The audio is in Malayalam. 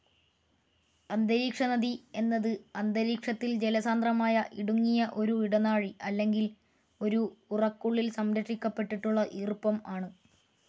അന്തരീക്ഷനദി എന്നത് അന്തരീക്ഷത്തിൽ ജലസാന്ദ്രമായ ഇടുങ്ങിയ ഒരു ഇടനാഴി അല്ലെങ്കിൽ ഒരു ഉറക്കുള്ളിൽ സംരക്ഷിക്കപ്പെട്ടിട്ടുള്ള ഈർപ്പം ആണ്.